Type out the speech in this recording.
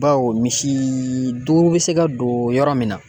Baw misii duuru bɛ se ka don yɔrɔ min na.